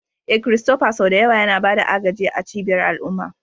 Eh, Christopher sau da yawa yana ba da agaji a cibiyar al'umma.